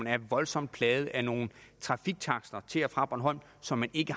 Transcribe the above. er voldsomt plaget af nogle trafiktakster til og fra bornholm som der ikke